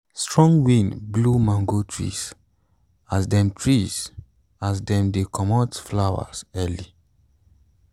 strong wind blow mango tree as them tree as them they comot flower early.